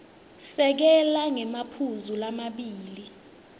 sekela ngemaphuzu lamabili